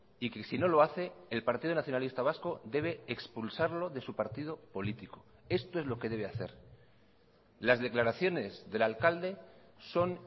y que si no lo hace el partido nacionalista vasco debe expulsarlo de su partido político esto es lo que debe hacer las declaraciones del alcalde son